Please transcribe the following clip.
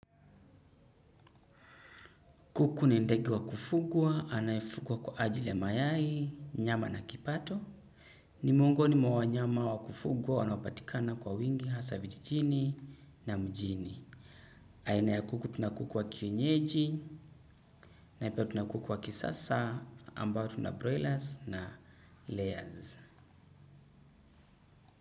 Kuku ni ndege wa kufugwa, anayefugwa kwa ajili ya mayai, nyama na kipato. Ni miongoni mwa wanyama wa kufugwa wanaopatikana kwa wingi hasa vijijini na mjini. Aina ya kuku tuna kuku wa kienyeji na pia tuna kuku wa kisasa ambayo tunabroilas na layers.